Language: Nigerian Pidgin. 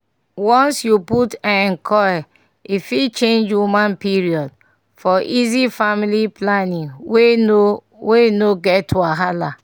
once you put um coil e fit change woman period - for easy family planning wey no wey no get wahala